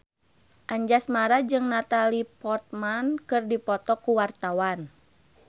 Anjasmara jeung Natalie Portman keur dipoto ku wartawan